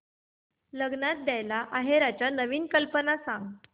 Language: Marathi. लग्नात द्यायला आहेराच्या नवीन कल्पना सांग